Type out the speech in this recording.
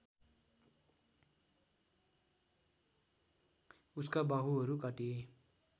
उसका बाहुहरू काटिए